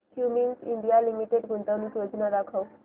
Cummins India limited गुंतवणूक योजना दाखव